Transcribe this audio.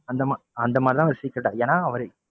அந்த அந்த மாதிரி வச்சுக்கிட்டாரு ஏன்னா அவரு,